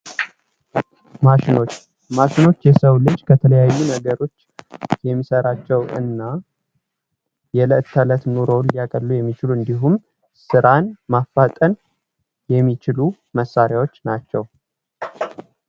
ማሸኖች ማሽኖች የሰው ልጅን ከተለያዩ ነገሮች የሚሰራቸውንና የዕለት ከለት ኑሮውን የቀሉ የሚችሉ እንዲሁም ስራን ማፈጠን የሚችሉ መሣሪያዎች ናቸው።